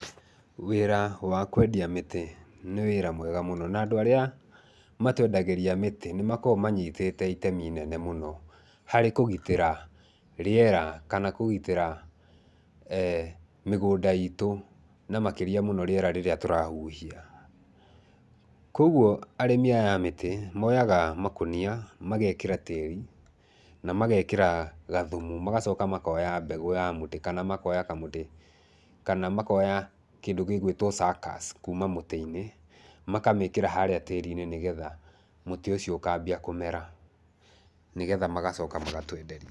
Wĩra wa kwendia mĩtĩ nĩ wĩra mwega mũno na andũ arĩa matwendagĩria mĩtĩ nĩ makoragwo manyitĩte itemi inene mũno harĩ kũgitĩra rĩera kana kũgitĩra eh mĩgũnda itũ, na makĩria mũno rĩera rĩrĩa tũrahuhia. Kwoguo arĩmi aya a mĩtĩ moyaga makũnia, mageekĩra tĩĩri na mageekĩra gathumu. Magacoka makoya mbegũ ya mũtĩ, kana makoya kamũtĩ, kana makoya kĩndũ gĩgũĩtwo suckers kuuma mũtĩ-inĩ, makamĩĩkĩra harĩa tĩĩri-inĩ nĩgetha mũtĩ ũcio ũkaambia kũmera, nĩgetha magacoka magatwenderia.